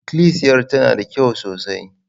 Ikilisiyar tana da kyau sosai.